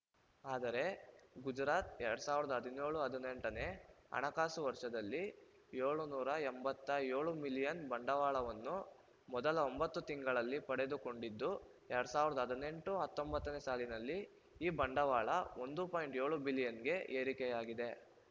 ಆದರೆ ಗುಜರಾತ್ ಎರಡ್ ಸಾವಿರದ ಹದಿನ್ಯೋಳು ಹದಿನೆಂಟನೇ ಹಣಕಾಸು ವರ್ಷದಲ್ಲಿ ಏಳುನೂರ ಎಂಬತ್ತ್ ಏಳು ಮಿಲಿಯನ್ ಬಂಡವಾಳವನ್ನು ಮೊದಲ ಒಂಬತ್ತು ತಿಂಗಳಲ್ಲಿ ಪಡೆದುಕೊಂಡಿದ್ದು ಎರಡ್ ಸಾವಿರದ ಹದಿನೆಂಟು ಹತ್ತೊಂಬತ್ತನೇ ಸಾಲಿನಲ್ಲಿ ಈ ಬಂಡವಾಳ ಒಂದು ಪಾಯಿಂಟ್ ಏಳು ಬಿಲಿಯನ್‌ಗೆ ಏರಿಕೆಯಾಗಿದೆ